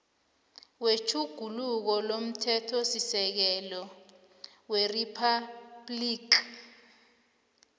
wetjhuguluko lomthethosisekelo weriphabhligi